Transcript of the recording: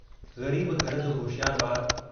ग़रीब घर जो होशियारु बारु।